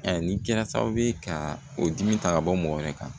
nin kɛra sababu ye ka o dimi ta ka bɔ mɔgɔ wɛrɛ kan